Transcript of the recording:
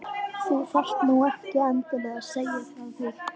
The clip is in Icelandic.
Þú þurftir nú ekki endilega að segja frá því